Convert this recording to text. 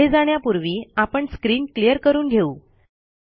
पुढे जाण्यापूर्वी आपण स्क्रीन क्लियर करून घेऊ